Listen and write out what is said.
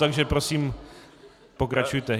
Takže prosím pokračujte.